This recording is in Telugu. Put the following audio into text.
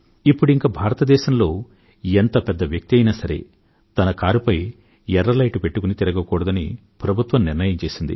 ఇప్పుడింక భారతదేశంలో ఎంత పెద్ద వ్యక్తి అయినా సరే తన కారుపై ఎర్ర లైటు పెట్టుకుని తిరగకూడదని ప్రభుత్వం నిర్ణయం చేసింది